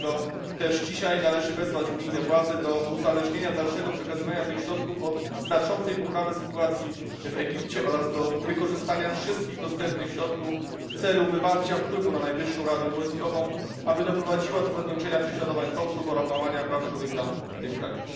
Dlatego też dzisiaj należy wezwać unijne władze do uzależnienia dalszego przekazywania tych środków od znaczącej poprawy sytuacji w Egipcie oraz do wykorzystania wszystkich dostępnych środków w celu wywarcia wpływu na Najwyższą Radę Wojskową, aby doprowadziła do zakończenia prześladowań Koptów oraz łamania praw człowieka w tym kraju.